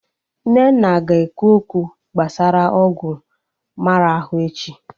Nnenna ga-ekwu okwu gbasara ọgwụ mmara ahụ echi